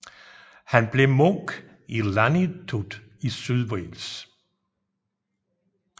Han blev munk i Llaniltud i Sydwales